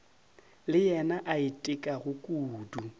le yena a itekago kudu